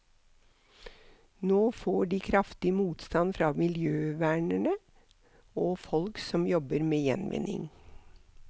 Nå får de kraftig motsvar fra miljøvernere og folk som jobber med gjenvinning.